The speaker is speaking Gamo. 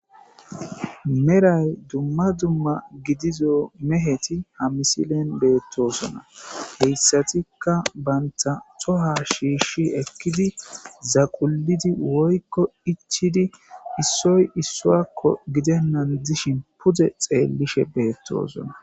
meray dumma dumma gidizo meheti ha misilen beettosona heyssatikka banta xoha shiishshi ekkidi zaqulidi woykko ichidi issoy issoakko gidennan dishin pude xeellishe beettosona